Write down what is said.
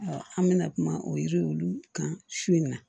an bɛna kuma o yiri olu kan su in na